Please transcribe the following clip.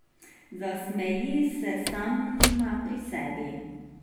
Zasmeji se sama pri sebi.